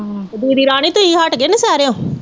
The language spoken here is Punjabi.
ਤੇ ਦੀਦੀ ਰਾਣੀ ਤੁਹੀ ਹਟਗੇ ਨੌਸ਼ੇਰਿਓ?